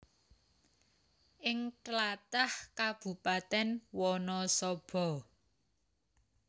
Ing tlatah Kabupatèn Wanasaba